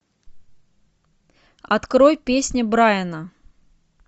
открой песня брайана